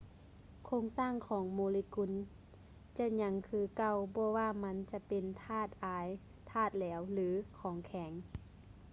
ໂຄງສ້າງຂອງໂມເລກຸນຈະຍັງຄືເກົ່າບໍ່ວ່າມັນຈະເປັນທາດອາຍ ທາດແຫຼວ ຫຼື ຂອງແຂງ